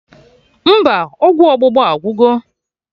Mba, ọgwụ ọgbụgba agwugo